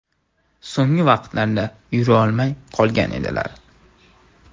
So‘nggi vaqtlarda yurolmay qolgan edilar.